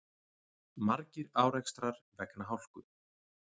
Margir árekstrar vegna hálku